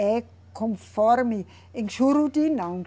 É conforme. Em Juruti, não.